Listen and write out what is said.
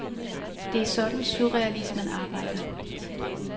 Det er sådan surrealismen arbejder.